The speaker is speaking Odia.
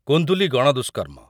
କୁନ୍ଦୁଲି ଗଣଦୁଷ୍କର୍ମ